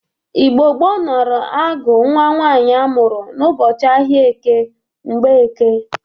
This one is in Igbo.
Igbo gboo nara agụ nwa nwaanyị amụrụ n'ụbọchị ahịa eke, Mgbọeke.